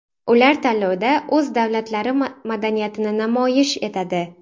Ular tanlovda o‘z davlatlari madaniyatini namoyish etadi.